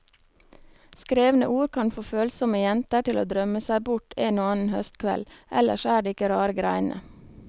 Skrevne ord kan få følsomme jenter til å drømme seg bort en og annen høstkveld, ellers er det ikke rare greiene.